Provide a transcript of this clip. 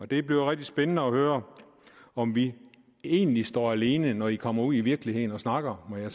det bliver rigtig spændende at høre om vi egentlig står alene når man kommer ud i virkeligheden og snakker med